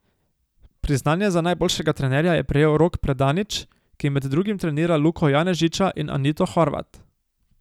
Priznanje za najboljšega trenerja je prejel Rok Predanič, ki med drugim trenira Luko Janežiča in Anito Horvat.